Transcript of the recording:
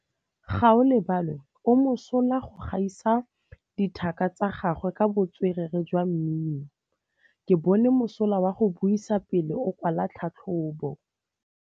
Gaolebalwe o mosola go gaisa dithaka tsa gagwe ka botswerere jwa mmino. Ke bone mosola wa go buisa pele o kwala tlhatlhobô.